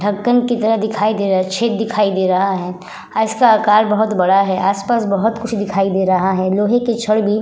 ढक्कन की तरह दिखाई दे रहा है। छेद दिखाई दे रहा है। इसका आकार बहोत बड़ा है। आस - पास बहोत कुछ दिखाई दे रहा है। लोहे की छड़ भी --